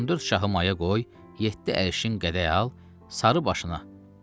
14 şahı maya qoy, yeddi əşin qədəy al sarı başına.